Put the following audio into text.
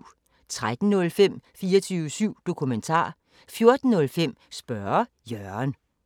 13:05: 24syv Dokumentar 14:05: Spørge Jørgen